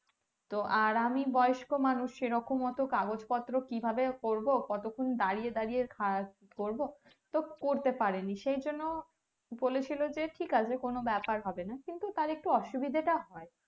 তো আর আমি বয়স্ক মানুষ সেরকম অটো কাগজ পত্র কিভাবে করবো কতক্ষন দাঁড়িয়ে দাঁড়িয়ে করবো তো করতে পারেনি তো সেই জন্য বলেছিলো যে ঠিক আছে কোনো ব্যাপার হবেনা কিন্তু তার একটু অসুবিধাটা হয়